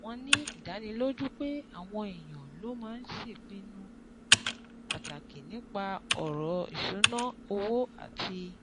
Wọ́n ní ìdánilójú pé àwọn èèyàn ló máa ń ṣèpinnu pàtàkì nípa ọ̀ràn ìṣúnná owó àti